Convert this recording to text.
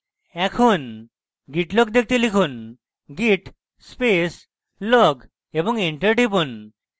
এখন git log দেখতে লিখুন git space log এবং enter টিপুন